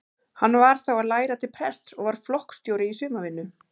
Hann var þá að læra til prests og var flokksstjóri í sumarvinnu.